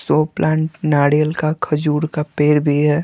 Show plant नारियल का खजूर का पेड़ भी है।